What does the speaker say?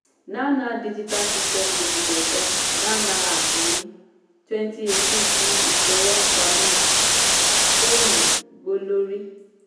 nownow digital systems limited dá nownow app ní twenty eighteen fún ìfowópamọ́ fóònù gbólorí.